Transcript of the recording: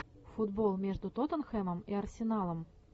футбол между тоттенхэмом и арсеналом